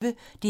DR P1